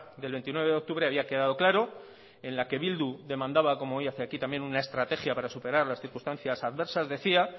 del veintinueve de octubre había quedado claro en la que bildu demandaba omo hoy hace aquí también una estrategia para superar las circunstancias adversas decía